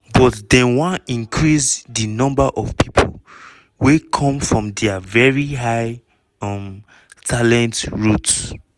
but dem wan increase di number of pipo wey dey come from dia very high um talent routes.